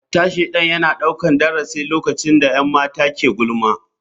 Hatta shaidan yana daukar darasi lokacin da 'yan mata ke gulma.